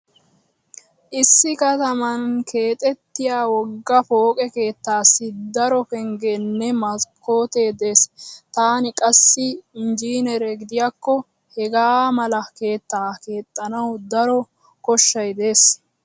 Issi kataman keexettiya wogga pooqe keettaassi daro penggeenne maskkoote dees. Taani qassi injjineere gidiyakko hegaa mala keettaa keexxanawu daro kshshay dees.